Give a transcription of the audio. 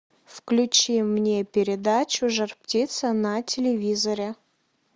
включи мне передачу жар птица на телевизоре